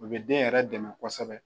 O bɛ den yɛrɛ dɛmɛ kosɛbɛ